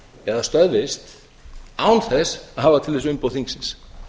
eða stöðvist án þess að hafa til þess umboð þingsins